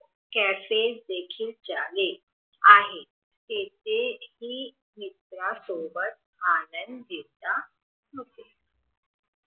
कसे देखील झाले आहे तेथे हि मित्र सोबत आनंद घेता